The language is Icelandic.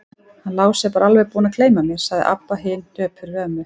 Hann Lási er bara alveg búinn að gleyma mér, sagði Abba hin döpur við ömmu.